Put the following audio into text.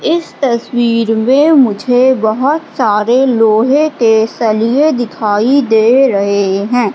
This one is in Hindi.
इस तस्वीर मे मुझे बहोत सारे लोहे के सलिए दिखाई दे रहे है।